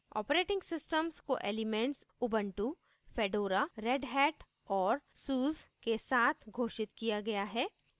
operating _ systems को elements ubuntu fedora redhat और suse के साथ घोषित किया गया है